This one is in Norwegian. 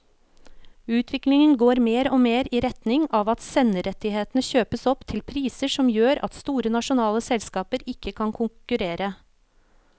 Utviklingen går mer og mer i retning av at senderettighetene kjøpes opp til priser som gjør at store nasjonale selskaper ikke kan konkurrere.